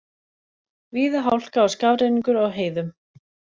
Víða hálka og skafrenningur á heiðum